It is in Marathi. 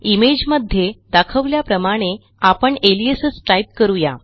इमेज मध्ये दाखवल्याप्रमाणे आपण अलियासेस टाईप करू या